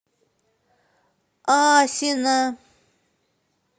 асино